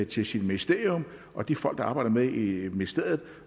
til sit ministerium og de folk der arbejder med det i ministeriet